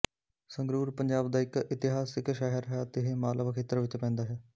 ਸੰਗਰੂਰ ਪੰਜਾਬ ਦਾ ਇੱਕ ਇਤਿਹਾਸਕ ਸ਼ਹਿਰ ਹੈ ਅਤੇ ਇਹ ਮਾਲਵਾ ਖੇਤਰ ਵਿੱਚ ਪੈਂਦਾ ਹੈ